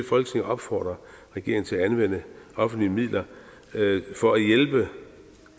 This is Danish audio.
folketinget opfordrer regeringen til at anvende offentlige midler for at hjælpe